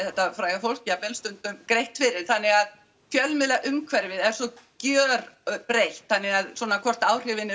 þetta fræga fólk jafnvel stundum greitt fyrir þannig að fjölmiðlaumhverfið er svo gjörbreytt þannig að hvort áhrifin